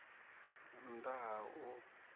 nn ḓ a ha u